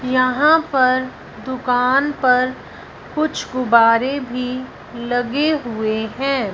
यहां पर दुकान पर कुछ गुब्बारे भी लगे हुए हैं।